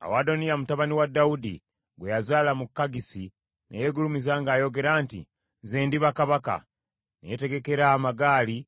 Awo Adoniya mutabani wa Dawudi gwe yazaala mu Kaggisi ne yeegulumiza ng’ayogera nti, “Nze ndiba kabaka.” Ne yeetegekera amagaali